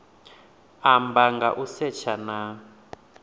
amba nga u setsha na